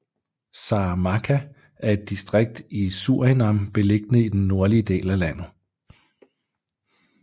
Saramacca er et distrikt i Surinam beliggende i den nordlige del af landet